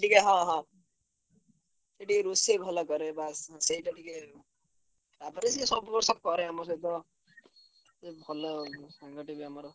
ହଁ ହଁ ସିଏ ଟିକେ ରୋଷେଇ ଭଲ କରେ ବାସ୍ ସେଇଟା ଟିକେ ତାପରେ ସିଏ ସବୁ ବର୍ଷ କରେ ଆମର ସବୁତ ସେ ଭଲ ସାଙ୍ଗଟେ ବି ଆମର।